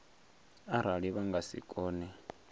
arali vha nga si kone